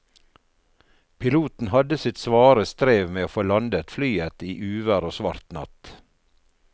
Piloten hadde sitt svare strev med å få landet flyet i uvær og svart natt.